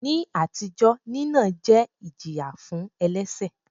Ní àtijọ́, nínà jẹ́ ìjìyà fún elẹ́ṣẹ̀.